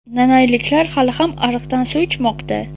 Nanayliklar hali ham ariqdan suv ichmoqda.